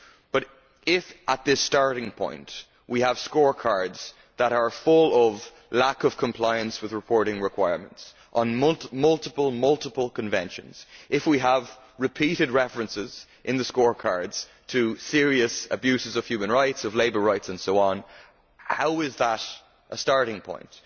But if, at this starting point, we have scorecards that are full of lack of compliance with reporting requirements on multiple conventions, and if we have repeated references in the scorecards to serious abuses of human rights, of labour rights and so on, how is that a starting point?